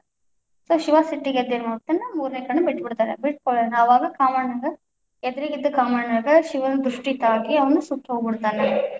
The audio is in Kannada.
So ಶಿವ ಸಿಟ್ಟಿಗೆದ್ದು ಏನ್ ಮಾಡ್ಬಿಡ್ತಾನ ಮೂರನೇ ಕಣ್ಣು ಬಿಟ್ಬಿಡ್ತಾನಾ, ಬಿಟ್ಟಕುಳ್ಳೇನ ಅವಾಗ ಕಾಮಣ್ಣಗ ಎದುರಿಗಿದ್ದ ಕಾಮಣ್ಣಗ ಶಿವನ ದೃಷ್ಟಿ ತಾಕಿ ಅವನ ಸುಟ್ಟು ಹೋಗ್ಬಿಡ್ತಾನಾ.